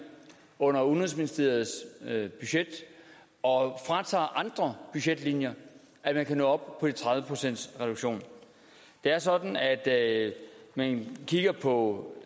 under udenrigsministeriets budget og fratager andre budgetlinjer at man kan nå op på de tredive procent i reduktion det er sådan at man kigger på